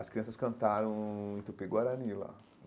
As crianças cantaram em Tupi Guarani lá.